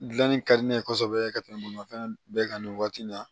Dilanni ka di ne ye kosɛbɛ ka tɛmɛ bolifɛn bɛɛ kan nin waati in na